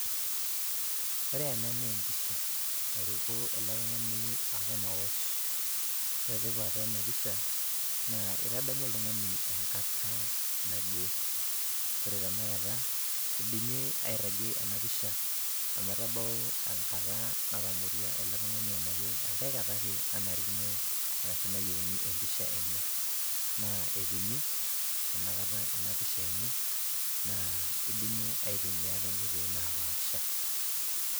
Ore ena naa empisha nairuko ele tuung'ani aton aosh, naa ore tipat ena pisha naa itadamu oltung'ani enkata naje. Ore tenakata idimi airragie ena pisha ometabau enkata natamorua ele tung'ani anake enkae kata ake nanarikino arashu nayieuni empisha ele tungani, naa etumi inakata ena pisha enye naa eidimi aitumia too nkatitin naapasha.